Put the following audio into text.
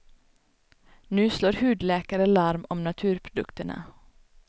Nu slår hudläkare larm om naturprodukterna.